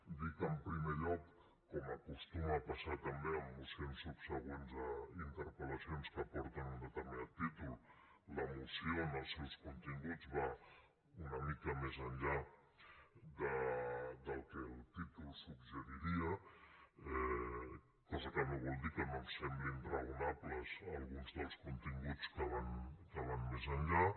dir que en primer lloc com acostuma a passar també amb mocions subsegüents a interpel·lacions que porten un determinat títol la moció en els seus continguts va una mica més enllà del que el títol suggeriria cosa que no vol dir que no ens semblin raonables alguns dels continguts que van més enllà